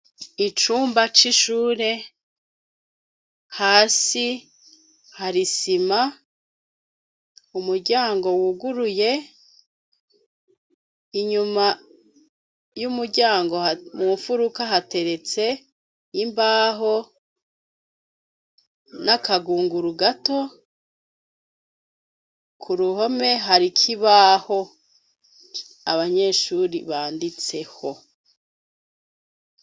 Icumba c'ishure, hasi hari isima, umuryango wuguruye, inyuma y'umuryango mumfuruka hateretse imbaho n'akagunguru gato, k'uruhome hari ikibaho abanyeshure banditseko.